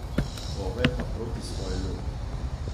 Ove pa proti svoji lopi.